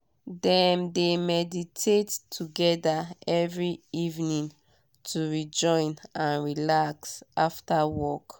dem de meditate together every evening to rejoin and relax after work.